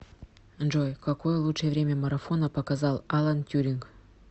джой какое лучшее время марафона показал алан тьюринг